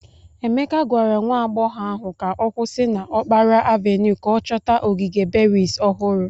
Emeke gwara nwa agbọghọ ahụ ka ọ kwụsị na okpara avenue ka ọ chọta ogige berries ohuru.